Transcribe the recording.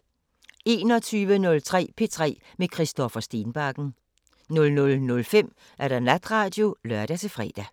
21:03: P3 med Christoffer Stenbakken 00:05: Natradio (lør-fre)